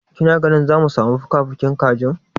Kina tunanin zamu samu fukafukin kajin?